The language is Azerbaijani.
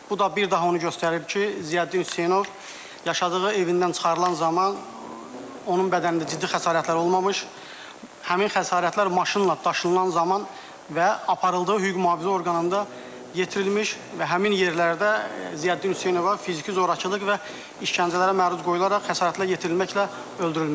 Bu da bir daha onu göstərir ki, Ziyəddin Hüseynov yaşadığı evindən çıxarılan zaman onun bədənində ciddi xəsarətlər olmamış, həmin xəsarətlər maşınla daşınılan zaman və aparıldığı hüquq-mühafizə orqanında yetirilmiş və həmin yerlərdə Ziyəddin Hüseynova fiziki zorakılıq və işgəncələrə məruz qoyularaq xəsarətlər yetirilməklə öldürülmüşdür.